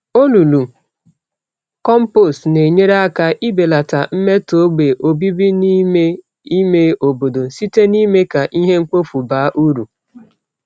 Olulu kompost na-enyere aka ibelata mmeto ogbe obibi n'ime ime obodo, site n'ime ka ihe mkpofu baa uru